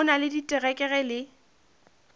o na le diterekere le